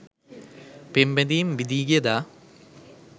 පෙම් බැඳීම් බිඳී ගිය දා